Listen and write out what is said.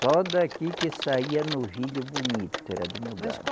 Só daqui que saía novilho bonito, era do meu gado